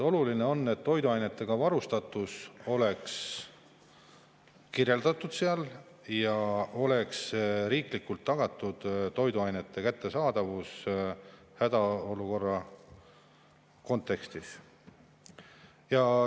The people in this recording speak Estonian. Oluline on, et toiduainetega varustatus oleks seal kirjeldatud ja oleks riiklikult tagatud toiduainete kättesaadavus hädaolukorra kontekstis.